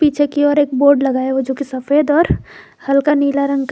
पीछे की और एक बोर्ड लगा है जो की सफेद और हल्का नीला रंग का--